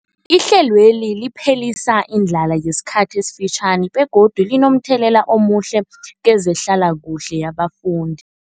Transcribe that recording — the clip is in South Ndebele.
Ihlelweli liphelisa indlala yesikhathi esifitjhani begodu linomthelela omuhle kezehlalakuhle yabafundi.